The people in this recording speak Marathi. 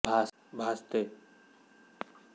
भासते ते तुझ्या ठायी तू भूमि जल अग्नि तू